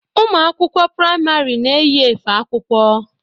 Ụmụ akwụkwọ priamarị na-eyi efe akwụkwọ.